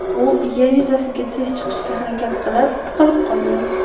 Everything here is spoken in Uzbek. U yer yuzasiga tez chiqishga harakat qilib, tiqilib qolgan.